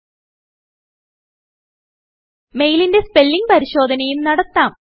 നിങ്ങൾക്ക് മെയിലിന്റെ സ്പെല്ലിങ്ങ് പരിശോധനയും നടത്താം